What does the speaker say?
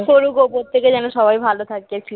করগো প্রত্যেকে যেন সবাই ভালো থাকে